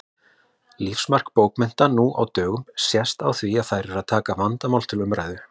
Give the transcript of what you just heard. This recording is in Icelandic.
Lífsmark bókmennta nú á dögum sést á því að þær taka vandamál til umræðu.